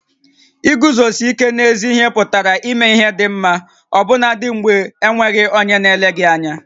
Iguzosi íké n'ézí ihé pụtara ímé ihé dị ḿmá ọbụnadị mgbè e nweghị onyé na-ele gị ányá